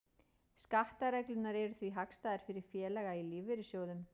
Skattareglurnar eru því hagstæðar fyrir félaga í lífeyrissjóðum.